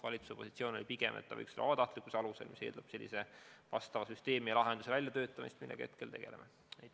Valitsuse positsioon oli pigem, et see võiks olla vabatahtlikkuse alusel, mis eeldab asjaomase süsteemi ja lahenduse väljatöötamist, millega praegu tegelemegi.